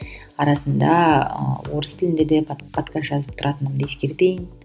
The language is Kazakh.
арасында ы орыс тілінде де подкаст жазып тұратынымды ескертейін